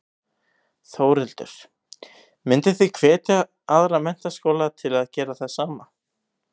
Þórhildur: Mynduð þið hvetja aðra menntaskóla til að gera það sama?